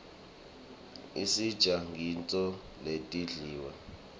isitjgla nqgtintfo letindwlile